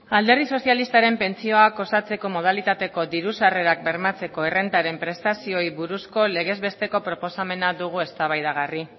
alderdi sozialistaren pentsioak osatzeko modalitateko diru sarrerak bermatzeko errentaren prestazioei buruzko legezbesteko proposamena dugu eztabaidagarri